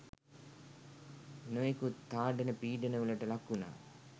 නොයෙකුත් තාඩන පීඩනවලට ලක්වුණා.